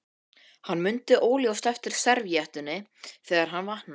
Hann mundi óljóst eftir servíettunni þegar hann vaknaði.